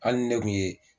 Hali ni ne kun ye